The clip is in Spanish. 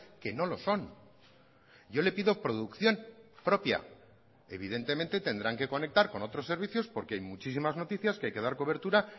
que no lo son yo le pido producción propia evidentemente tendrán que conectar con otros servicios porque hay muchísimas noticias que hay que dar cobertura